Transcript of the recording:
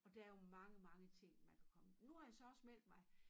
Og der er jo mange mange ting man kan komme nu har jeg så også meldt mig